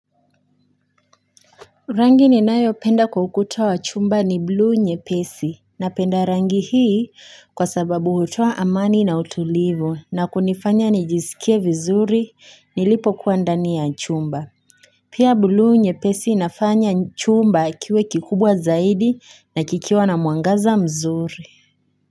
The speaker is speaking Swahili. Rangi ninayopenda kwa ukuta wa chumba ni bluu nyepesi napenda rangi hii kwa sababu hutoa amani na utulivu na kunifanya nijisikie vizuri nilipokuwa ndani ya chumba. Pia bluu nyepesi inafanya chumba kiwe kikubwa zaidi na kikiwa na mwangaza mzuri.